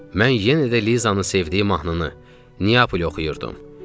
Mən yenə də Lizanın sevdiyi mahnını Niyapoli oxuyurdum.